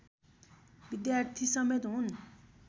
विद्यार्थी समेत हुन्